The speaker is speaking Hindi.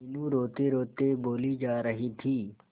मीनू रोतेरोते बोली जा रही थी